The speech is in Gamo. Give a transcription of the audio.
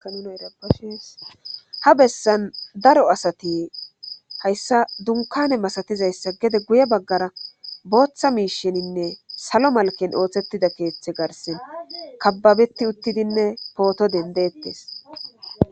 Ishsha bessan daro asati hayssa dunkane masatizayssa gede guye baggara booththa miisheninne salo malken ooththettida keeththe garsen kababeti uttidinne pooto dendettes.